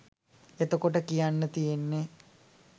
එතකොට කියන්න තියන්නේ